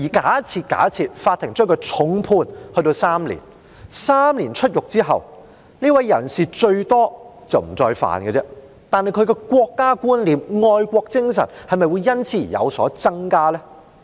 假設法庭將他重判監禁3年，出獄後，這人最多只是不再犯這罪，但他的國家觀念和愛國精神會否因此而有所增加？